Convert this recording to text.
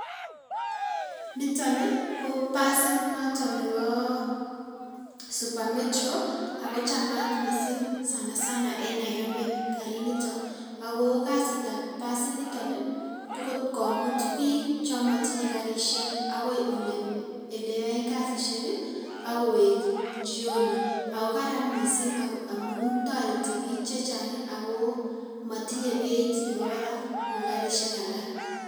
Niton ko basit noton nebo super metro ako chamat mising sana sana en nairobi kariniton akoo kasiitab basiniton ko kot komut biik chomotinye karishek akoii eleyoen kasishek akowek jioni, akoo Karan mising amun toreti biik chechang akoo motinye beit nebo barak kouu karishek alak.